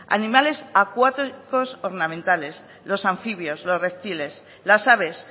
animales acuáticos ornamentales los anfibios los reptiles las aves